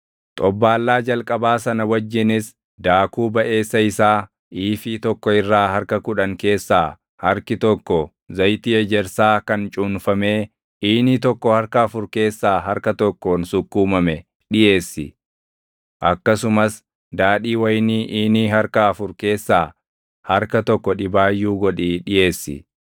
Xobbaallaa jalqabaa sana wajjinis daakuu baʼeessa isaa iifii tokko irraa harka kudhan keessaa harki tokko zayitii ejersaa kan cuunfamee iinii tokko harka afur keessaa harka tokkoon sukkuumame dhiʼeessi; akkasumas daadhii wayinii iinii harka afur keessaa harka tokko dhibaayyuu godhii dhiʼeessi.